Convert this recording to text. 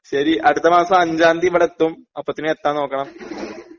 ശരി അടുത്ത മാസം അഞ്ചാന്തി ഇവിടെത്തും അപ്പത്തിനും എത്താൻ നോക്കണം